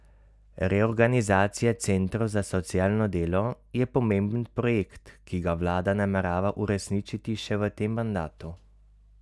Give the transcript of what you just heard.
Reorganizacija centrov za socialno delo je pomemben projekt, ki ga vlada namerava uresničiti še v tem mandatu.